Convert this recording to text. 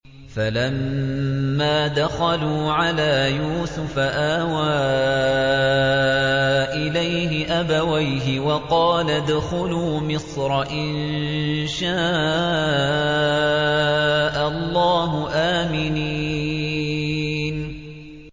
فَلَمَّا دَخَلُوا عَلَىٰ يُوسُفَ آوَىٰ إِلَيْهِ أَبَوَيْهِ وَقَالَ ادْخُلُوا مِصْرَ إِن شَاءَ اللَّهُ آمِنِينَ